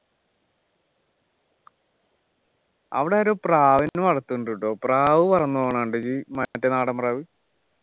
അവിടെ ഒരു പ്രാവിനെ വളർത്തുന്നുണ്ട് ട്ടോ പ്രാവ് പറന്നു പോകുന്നത് കണ്ട് മറ്റേ നാടൻ പ്രാവ്